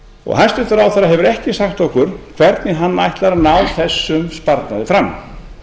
og hæstvirtur ráðherra hefur ekki sagt okkur hvernig hann ætlar að ná þessum sparnaði fram